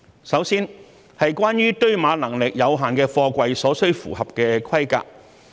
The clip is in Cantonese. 首先，是關於堆碼能力有限的貨櫃所需符合的規格。